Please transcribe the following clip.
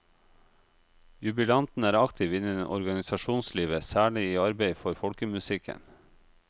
Jubilanten er aktiv innen organisasjonslivet, særlig i arbeidet for folkemusikken.